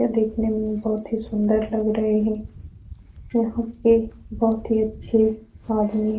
यह देखने में भी बोहोत ही सुंदर लग रहे है यहाँ पे बोहोत ही अच्छे आदमी है।